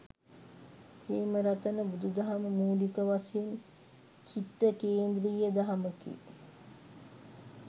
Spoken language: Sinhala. ප්‍රේමරතන බුදුදහම මූලික වශයෙන් චිත්ත කේන්ද්‍රීය දහමකි.